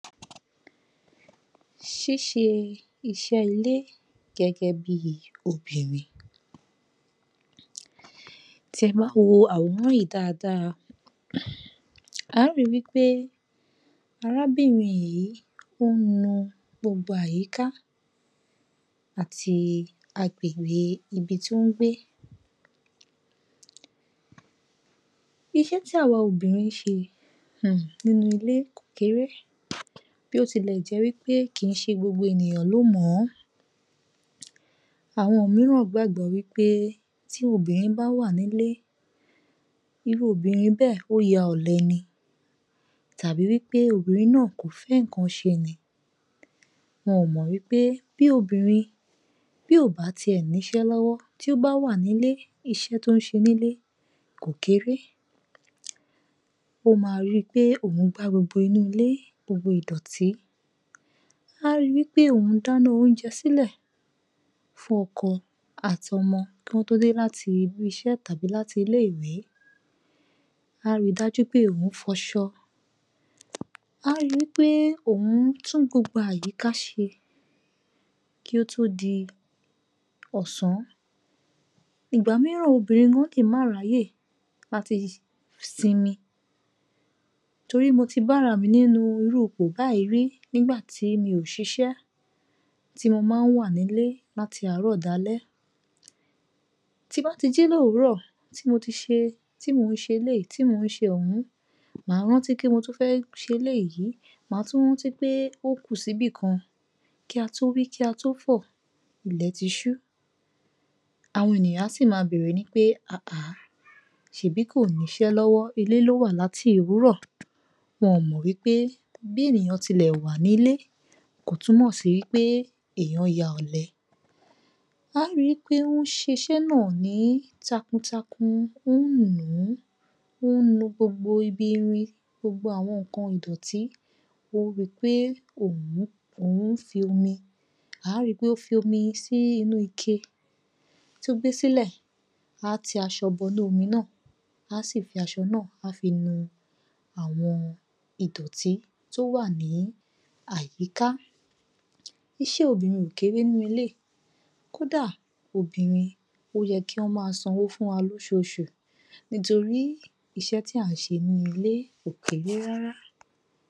Ṣíṣe iṣẹ́ ilé gẹ́gẹ́bí obìnrin Tí ẹ ba wo àwòrán yìí dáadáa, á ri wí pé arábìnrin yìí ó mọ gbogbo àyíká àti agbègbè ibi tí ó ń gbé. Iṣẹ́ tí àwa obìnrin ń ṣe um nínú ilé kò kéré bí ó tilẹ̀ jẹ́ wí pé kì í ṣe gbogbo ènìyàn ló mọ̀ọ́. Àwọn òmíràn gbàgbọ́ wí pé tí obìnrin bá wà nílé, irú obìnrin bẹ́ẹ̀ ó ya ọ̀lẹ ni tàbí wí pé obìnrin náà kò fẹ́ nǹkan ṣe ni. Wọn ò mọ̀ wí pé bí obìnrin bí ò bá tiẹ̀ níṣẹ́ lọ́wọ́, tí ó bá wà nílé, iṣẹ́ tó ń ṣe nílé kò kéré. Ó ma ri pé òun gbá gbogbo inúle, gbogbo ìdọ̀tí, a rí wí pé òun dáná oúnjẹ sílẹ̀ fún ọkọ àti ọmọ kán tó dé láti ilé-iṣẹ́ tàbí láti ilé-ìwé. Á ri dájú pé òun fọṣọ. Á ri wí pé òun tún gbogbo àyíká ṣe kí ó tó di ọ̀sán. Ìgbà mìíràn, obìnrin gan lè máa ráyè láti simi torí mo ti bára mi nínú irú ipò báyìí rí nígbà tí mi ò ṣiṣẹ́ tí mo máa ń wà nílé láti àárọ̀ dalẹ́. Tí n ba tí jí lówùrọ̀ tí mo ti ṣe tí mò ń ṣe eléyìí mò ń ṣe ọ̀hún máa rántí pé mo tún fẹ́ ṣe eléyìí mà tún rántí pé ókù síbì kan kí a tó wí kí a tó fọ̀ ilẹ̀ ti ṣú. Àwọn ènìyàn á sì máa bèrè ní pé um ṣèbí kò níṣẹ́ lọ́wọ́ ilé ló wà láti òwúrọ̀ wọn ò mọ̀ wí pé bí ènìyàn ti lẹ̀ wà nílé kò túmọ̀ sí wí pé èèyàn ya ọ̀lẹ. Á ri wí pé wọ́n ṣeṣẹ́ náà ní takuntakun ó nu gbogbo ibi irin, gbogbo àwọn nǹkan ìdọ̀tí ó ri pé òún fi omi, á ri pé ó fi omi sí inú ike tó gbé sílẹ̀, á ti aṣọ bọ inú omi náà, á sì fi aṣọ náà á fi nu àwọn ìdọ̀tí tó wà ní àyíká. Iṣẹ́ obìnrin ò kéré núilé kódàà obìnrin ó yẹ kí wọ́n máa sanwó fúnwa lóṣooṣù nítorí iṣẹ́ tí à ń ṣe nínú ilé kò kéré rárá.